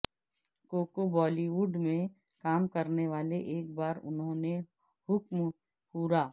cocoa Hollywood میں کام کرنے والے ایک بار انہوں نے حکم پورا